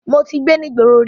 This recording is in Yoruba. Mo ti gbé ní ìgboro rí.